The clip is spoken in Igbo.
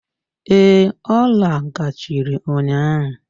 Ee, ọ lagachịrị ụnyaahụ.